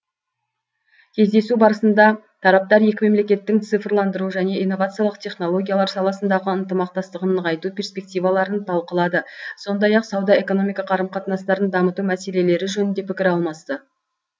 кездесу барысында тараптар екі мемлекеттің цифрландыру және инновациялық технологиялар саласындағы ынтымақтастығын нығайту перспективаларын талқылады сондай ақ сауда экономика қарым қатынастарын дамыту мәселелері жөнінде пікір алмасты